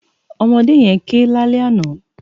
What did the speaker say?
Òmòdé yèn ké lálè àná